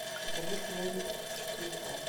покажи хроника четыре к